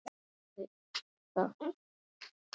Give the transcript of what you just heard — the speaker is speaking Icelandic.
Ha, jú ég játti því.